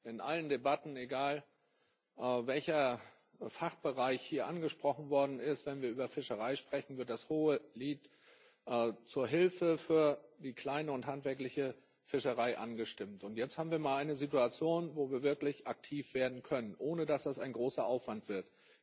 In allen Debatten, egal welcher Fachbereich hier angesprochen worden ist Wenn wir über Fischerei sprechen, wird das Hohelied der Hilfe für die kleine und handwerkliche Fischerei angestimmt, und jetzt haben wir mal eine Situation, wo wir wirklich aktiv werden können, ohne dass das ein großer Aufwand wird.